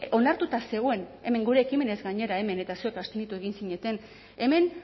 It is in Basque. onartuta zegoen hemen gure ekimenez gainera hemen eta zuek abstenitu egin zineten hemen